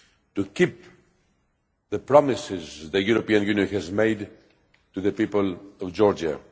to keep the promises the European Union has made to the people of Georgia.